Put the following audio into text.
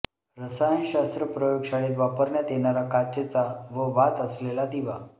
रसायनशास्त्र प्रयोगशाळेत वापरण्यात येणारा काचेचा व वात असलेला दिवा